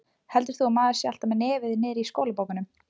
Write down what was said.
Heldur þú að maður sé alltaf með nefið niðri í skólabókunum?